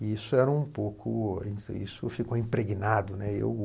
E isso era um pouco, isso ficou impregnado, né? Eu...